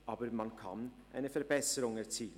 Aber man kann eine Verbesserung erzielen.